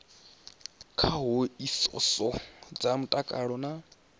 dza hoisiso dza mutakalo na